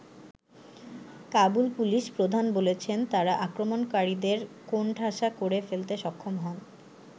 Kabul police প্রধান বলেছেন, তারা আক্রমণকারীদের কোণঠাসা করে ফেলতে সক্ষম হন।